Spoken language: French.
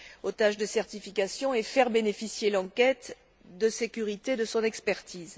aux tâches de certification et faire bénéficier l'enquête de sécurité de son expertise.